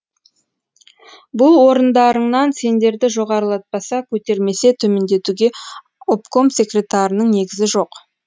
бұл орындарыңнан сендерді жоғарылатпаса көтермесе төмендетуге обком секретарының негізі жоқ